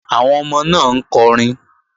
Àwọn ọmọ náà ń kọrin